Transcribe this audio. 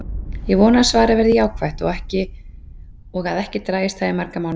Ég vona að svarið verði jákvætt og að ekki dragist það í marga mánuði.